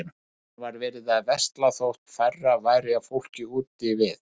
Enn var verið að versla þótt færra væri af fólki úti við.